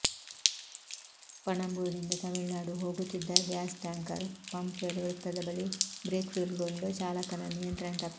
ಪಣಂಬೂರಿನಿಂದ ತಮಿಳುನಾಡು ಹೋಗುತ್ತಿದ್ದ gas tanker Pumpwell ವೃತ್ತದ ಬಳಿ ಬ್ರೇಕ್ಫೇಲ್ಗೊಂಡು ಚಾಲಕನ ನಿಯಂತ್ರಣ ತಪ್ಪಿದೆ